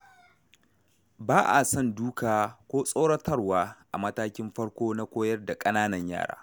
Ba a son duka ko tsoratarwa a matakin farko na koyar da ƙananan yara.